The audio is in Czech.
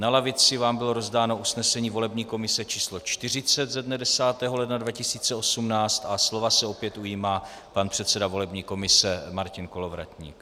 Na lavici vám bylo rozdáno usnesení volební komise číslo 40 ze dne 10. ledna 2018 a slova se opět ujímá pan předseda volební komise Martin Kolovratník.